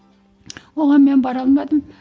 оған мен бара алмадым